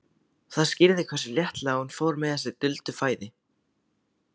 Það skýrði hversu léttilega hún fór með þessi duldu fræði.